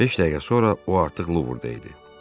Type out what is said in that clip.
Beş dəqiqə sonra o artıq Louvre-də idi.